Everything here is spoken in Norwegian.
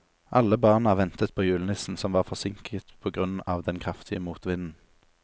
Alle barna ventet på julenissen, som var forsinket på grunn av den kraftige motvinden.